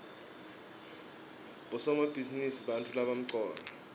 bosomabhizinisi bantfu labamcoka